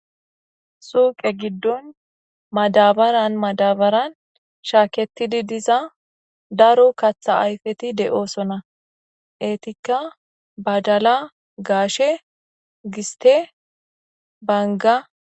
Suyqe gido madabaran madabaran shaketidi diza daro eqati de'osona etika badala gashe giste Banga.